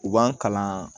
U b'an kalan